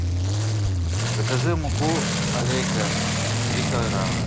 закажи муку алейка три килограмма